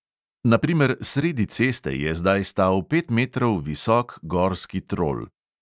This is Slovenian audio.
Na primer, sredi ceste je zdaj stal pet metrov visok gorski trol.